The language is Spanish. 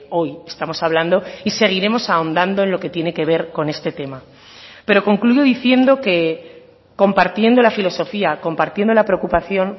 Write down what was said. hoy estamos hablando y seguiremos ahondando en lo que tiene que ver con este tema pero concluyo diciendo que compartiendo la filosofía compartiendo la preocupación